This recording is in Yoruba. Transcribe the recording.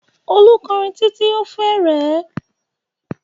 Olú kọrin títí ó fi rẹ ẹ́.